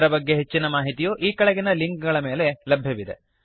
ಇದರ ಬಗ್ಗೆ ಹೆಚ್ಚಿನ ಮಾಹಿತಿಯು ಈ ಕೆಳಗಿನ ಲಿಂಕ್ ಗಳ ಮೇಲೆ ಲಭ್ಯವಿದೆ